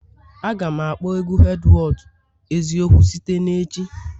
Aga m akpọ egwu Edwards eziokwu site na echi